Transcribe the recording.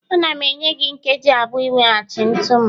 Ana m enye gị nkeji abụọ iweghachi ntu m